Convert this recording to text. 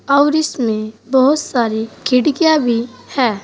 और इसमें बहुत सारी खिड़कियां भी है।